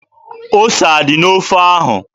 Ose adị n'ofe ahụ?